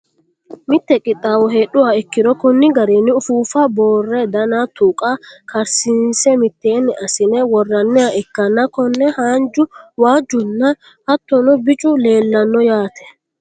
mite qixxaawo heedhuha ikkiro konni garinni ufuuffa boorre dana tuqa karsiinse mitteenni assine worranniha ikkanna, konne haanju waajjunna hattono bicu leelanno yaate.